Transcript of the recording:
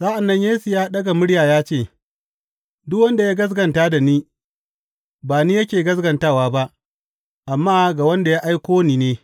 Sa’an nan Yesu ya ɗaga murya ya ce, Duk wanda ya gaskata da ni, ba ni yake gaskatawa ba, amma ga wanda ya aiko ni ne.